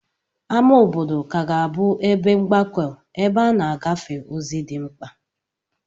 Ámá obodo ka ga-abụ ebe mgbakọ̀ ebe a na-agafe ozi dị mkpa.